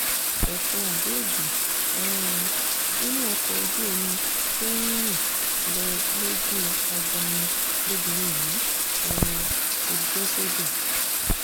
ẹfun abẹ́ẹ̀dì um inú ọkọ̀ ojú omi tó ń rìn lọ lójú agbami lobìnrin yìí um ti bẹ́ sódò